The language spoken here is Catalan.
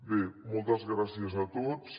bé moltes gràcies a tots